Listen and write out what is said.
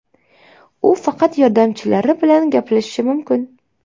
U faqat yordamchilari bilan gaplashishi mumkin.